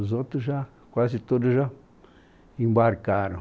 Os outros já, quase todos já embarcaram.